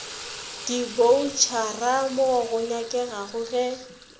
diboutšhara mo go nyakegago ge